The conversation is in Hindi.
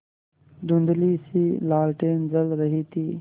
धुँधलीसी लालटेन जल रही थी